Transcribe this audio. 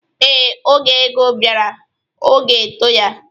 Ee, oge ego bịara, ọ gaegote ya.